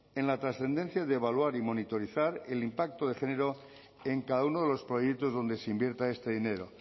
en la trascendencia de evaluar y monitorizar el impacto de género en cada uno de los proyectos donde se invierta este dinero